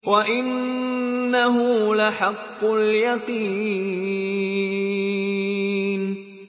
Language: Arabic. وَإِنَّهُ لَحَقُّ الْيَقِينِ